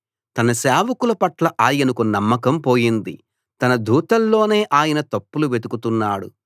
తన సేవకుల పట్ల ఆయనకు నమ్మకం పోయింది తన దూతల్లోనే ఆయన తప్పులు వెతుకుతున్నాడు